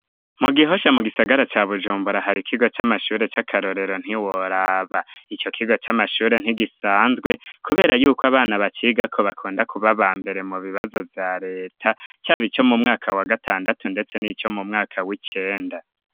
Mu gihosha mu gisagara ca bujumbura hari ikigo c'amashure c'akarorero ntiworaba ico kiga c'amashure ntigisanzwe, kubera yuko abana bakigako bakunda kuba ba mbere mu bibazo vya leta cabo ico mu mwaka wa gatandatu, ndetse n'ico mu mwaka w'icenda.